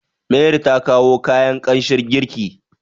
mari ta kawo kayan kanshin girki